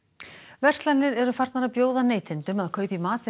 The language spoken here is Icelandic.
verslanir eru farnar að bjóða neytendum að kaupa í matinn